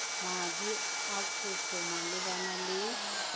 madi a kopo malebana le